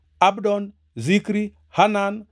Abdon, Zikri, Hanan,